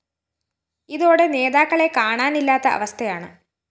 ഇതോടെ നേതാക്കളെ കാണാനില്ലാത്ത അവസ്ഥയാണ്